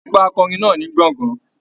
A gbọ́ akọrin náà ní gbọ̀ngán.